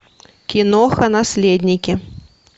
киноха наследники